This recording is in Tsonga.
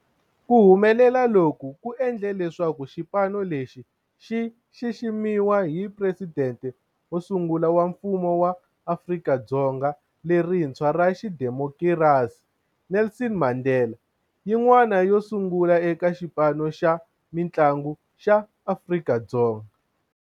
Ku humelela loku ku endle leswaku xipano lexi xi xiximiwa hi Presidente wo sungula wa Mfumo wa Afrika-Dzonga lerintshwa ra xidemokirasi, Nelson Mandela, yin'wana yo sungula eka xipano xa mintlangu xa Afrika-Dzonga.